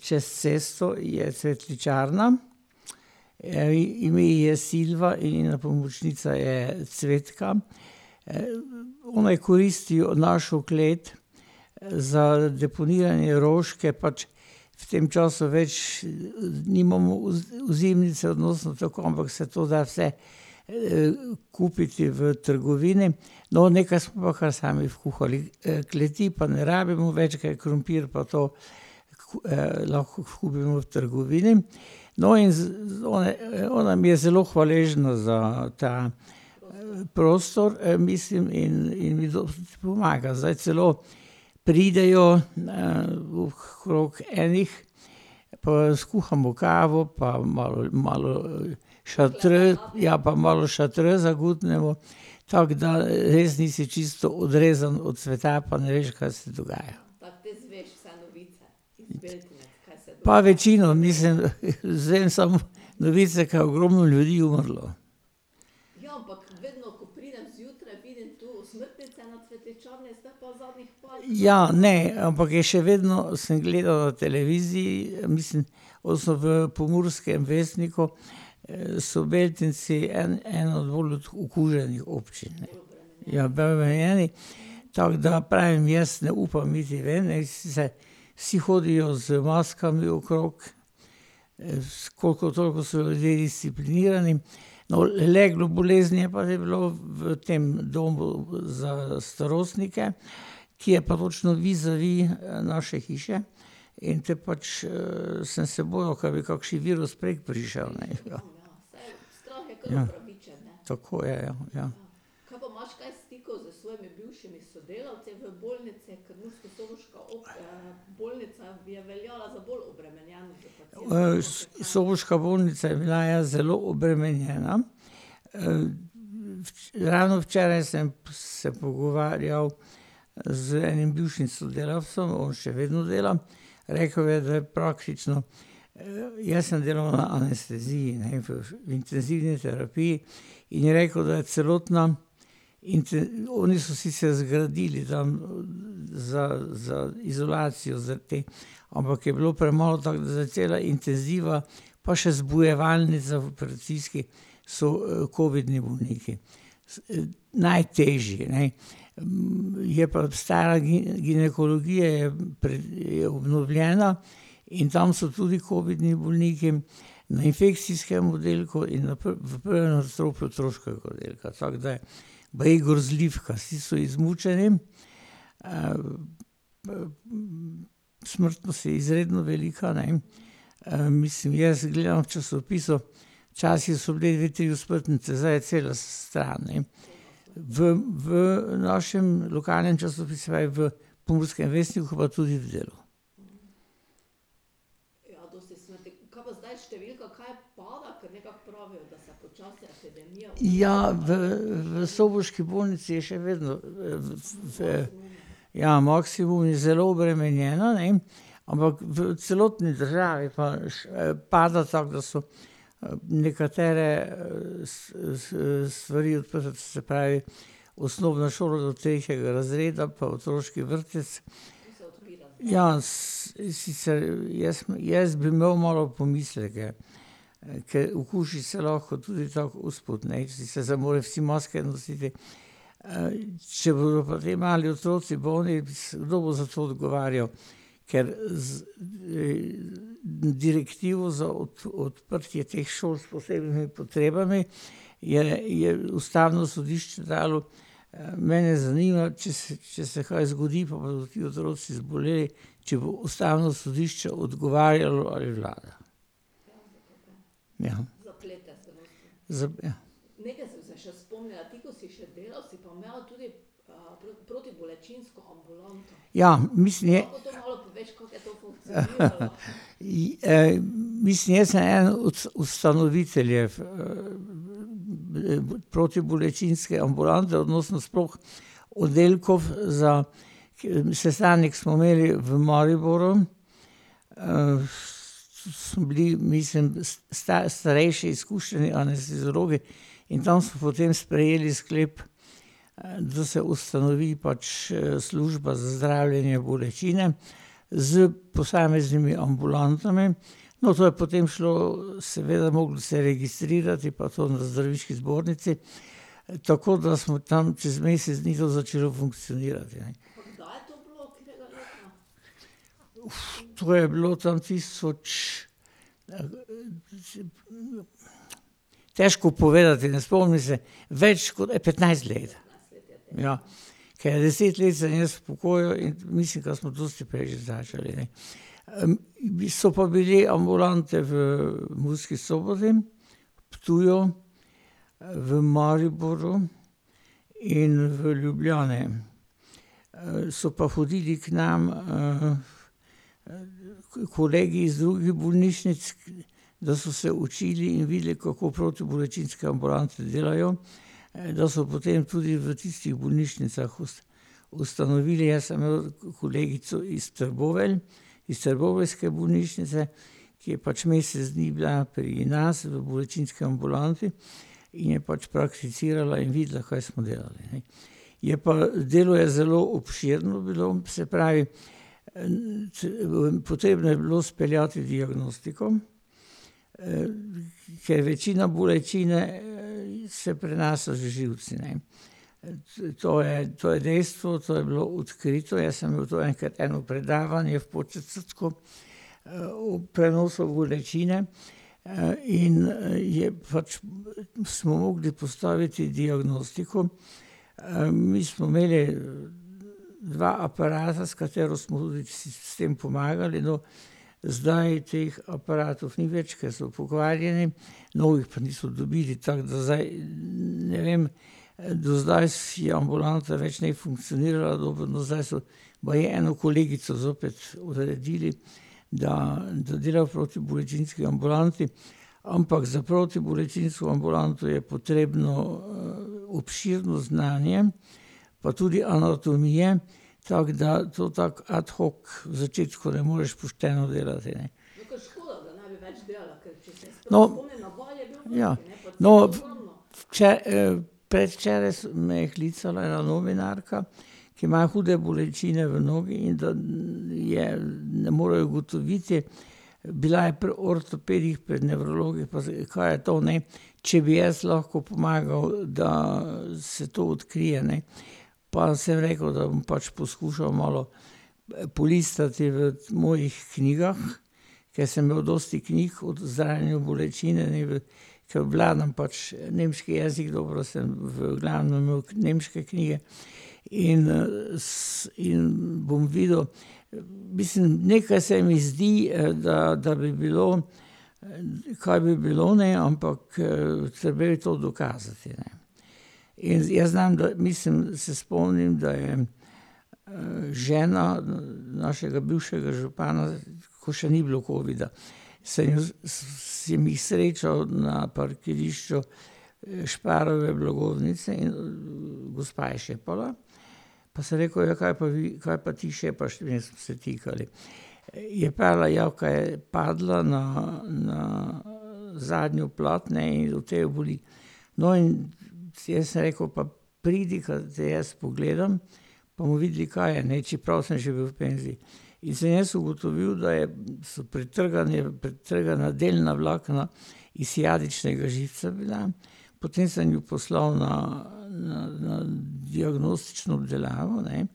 čez cesto je cvetličarna. ime ji je Silva in njena pomočnica je Cvetka, one koristijo našo klet, za deponije in roške pač, v tem času več nimamo ozimnice , ampak se to da vse, kupiti v trgovini. No, nekaj smo kar sami vkuhali. kleti pa ne rabimo več, ke je krompir pa to lahko kupimo v trgovini, no in one, ona mi je zelo hvaležna za ta prostor, mislim, in, in mi pomaga. Zdaj celo pridejo na ... Okrog enih, pa skuhamo kavo pa malo, malo šatre, ja, pa malo šatre zagutnemo, tako da res nisi čisto odrezan od sveta pa ne veš, kaj se dogaja. Pa večino, mislim, izvem samo novice, ke je ogromno ljudi umrlo. Ja, ne, ampak je še vedno, sem gledal televiziji, mislim, ko so v Pomurskem vestniku, so Beltinci en, ena bolj od okuženih občin. Ja, bolj omejeni, tako da, pravim jaz, ne upam niti ven, ne, , vsi hodijo z maskami okrog, s koliko toliko so ljudje disciplinirani, no, leglo bolezni je pa, naj bi bilo v tem domu za starostnike, ki je pa točno vizavi naše hiše. In potem pač, sem se bojal, ka bi kakši virus prek prišel, ne, ja. Ja. Tako je, ja, ja. soboška bolnica je bila, ja, zelo obremenjena, ravno včeraj sem se pogovarjal z enim bivšim sodelavcem, on še vedno dela, rekel mi je, da je praktično ... jaz sem delal na anesteziji, ne, v intenzivni terapiji, in je rekel, da je celotna ... Oni so sicer zgradili tam za, za izolacijo za te, ampak je bilo premalo, tako, zdaj cela intenziva pa še zbujevalnica v operacijski so, covidni bolniki. najtežji, ne. je pa stara ginekologija je je obnovljena, in tam so tudi covidni bolniki. Na infekcijskem oddelku in na v prvem nadstropju otroškega oddelka, tako da ja. Baje je grozljivka, vsi so izmučeni. Smrtnost je izredno velika, ne, mislim jaz gledam v časopisu, včasih so bili dve, tri osmrtnice, zdaj je cela stran, ne. V, v našem lokalnem časopisu, v Pomurskem vestniku, pa tudi v Delu. Ja, v, v soboški bolnici je še vedno, v ... Ja, maksimum je, zelo obremenjeno, ne, ampak v celotni državi pa padata v nekatere, stvari, , se pravi, osnovna šola do tretjega razreda pa otroški vrtec. Ja, sicer jaz, jaz bi imel malo pomisleke. ker okuži se lahko tudi tako usput, ne, in sicer zdaj morajo vsi maske nositi, če bodo pa te mali otroci bolni, kdo bo za to odgovarjal? Ker direktivo za odprtje teh šol s posebnimi potrebami je, je ustavno sodišče dajalo. mene zanima, če se, če se kaj zgodi, pa bodo ti otroci zboleli, če bo ustavno sodišče odgovarjalo ali vlada. Ja. Zapre. Ja, mislim je ... mislim, jaz sem eden od ustanoviteljev protibolečinske ambulante odnosno sploh oddelkov za ... sestanek smo imeli v Mariboru. ... Smo bili, mislim starejši izkušeni anesteziologi in tam smo potem sprejeli sklep, da se ustanovi pač, služba za zdravljenje bolečine. S posameznimi ambulantami. No, to je potem šlo, seveda moglo se je registrirati in pa to na zdravniški zbornici, tako da smo tam čez mesec dni to začeli funkcionirati, ja. to je bilo tam tisoč ... Težko povedati, ne spomnim se. Več kot petnajst let. Ja. Ker deset let sem jaz v pokoju in mislim, ka smo dosti prej že začeli, ne. bili so pa bili ambulante v Murski Soboti, Ptuju, v Mariboru in v Ljubljani. so pa hodili k nam, kolegi iz drugih bolnišnic, da so se učili in videli, kako protibolečinske ambulante delajo, da so potem tudi v tistih bolnišnicah ustanovili, jaz sem imel kolegico iz Trbovelj, iz trboveljske bolnišnice, ki je pač mesec dni bila pri nas v bolečinski ambulanti in je pač prakticirala in videla, kaj smo delali, ne. Je pa delo je zelo obširno bilo, se pravi, potrebno je bilo speljati diagnostiko, ker večina bolečine, se prenaša z živci, ne. Saj to je, to je dejstvo, to je bilo odkrito, jaz sem imel to enkrat eno predavanje v Podčetrtku, o prenosu bolečine, in je pač ... Smo mogli postaviti diagnostiko. mi smo imeli dva aparata, s katero smo vsem pomagali do ... Zdaj teh aparatov ni več, ker so pokvarjeni, novih pa niso dobili. Tako da zdaj ... ne vem. do zdaj je ambulanta več ne funkcionirala, dokler, no, zdaj so baje eno kolegico zopet uredili, da, da dela v protibolečinski ambulanti. Ampak za protibolečinsko ambulanto je potrebno, obširno znanje, pa tudi anatomije, tako da, to tako ad hoc v začetku ne moreš pošteno delati. No ... Ja. No ... predvčeraj me je klicala ena novinarka, ki ima hude bolečine v nogi, in da je ... ne morejo ugotoviti bila je pri ortopedih, pri nevrologih, pa zdaj, kaj je to, ne, če bi jaz lahko pomagal, da se to odkrije, ne. Pa sem rekel, da bom pač poskušal malo polistati v mojih knjigah, ker sem imel dosti knjig od zdravljenja bolečine, ... Če obvladam pač nemški jezik, dobro sem v glavnem imel nemške knjige, in in bom videl, mislim, nekaj se mi zdi da, da bi bilo, kar bi bilo, ne, ampak, treba je to dokazati, ne. In jaz znam mislim, se spomnim, da je žena našega bivšega župana, ko še ni bilo covida, se je ... Sem jih srečal na parkirišču Sparove blagovnice in gospa je šepala, pa sem rekel: "Ja, kaj pa vi, kaj pa ti šepaš?" Ne, smo se tikali. je pravila, ja ka je padla na, na zadnjo plat, ne, in od te jo boli. No, in sem ji jaz rekel: "Pa pridi, ka te jaz pogledam, pa bomo videli, kaj je, ne, čeprav sem že v penziji." In sem jaz ugotovil, da je ... so pretrgane, pretrgana delna vlakna ishiadičnega živca bila. Potem sem jo poslal na, na, na diagnostično obdelavo, ne,